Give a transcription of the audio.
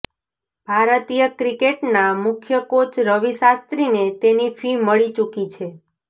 ભારતીય ક્રિકેટ ના મુખ્ય કોચ રવિ શાસ્ત્રીને તેની ફી મળી ચુકી છે